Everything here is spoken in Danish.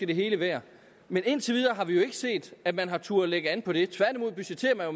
det hele værd men indtil videre har vi jo ikke set at man har turdet lægge an på det tværtimod budgetterer